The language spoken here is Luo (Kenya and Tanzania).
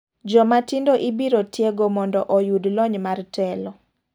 Joma tindo ibiro tiego mondo oyud lony mar telo.